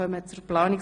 1 und 2)